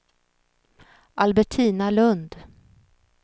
Albertina Lundh